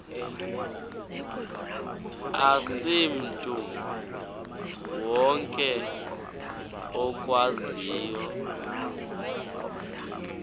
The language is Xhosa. asimntu wonke okwaziyo